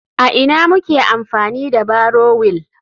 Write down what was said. A ina muke amfani da barrow wheel?